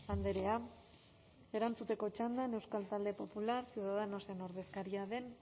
andrea erantzuteko txandan euskal talde popular ciudadanosen ordezkaria den